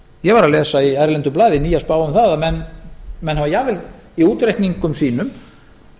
ég var að lesa í erlendu blaði nýja spá um það að menn hafa jafnvel í útreikningum sínum